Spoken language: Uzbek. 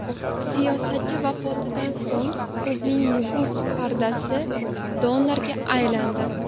Siyosatchi vafotidan so‘ng ko‘zning muguz pardasi donoriga aylandi .